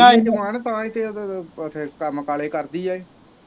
ਕਾਲੀ ਜੁਬਾਨ ਤਾਂ ਈ ਤੇ ਕੰਮ ਕਾਲੇ ਕਰਦੀ ਆ ਇਹ